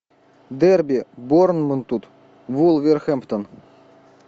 дерби борнмут вулверхэмптон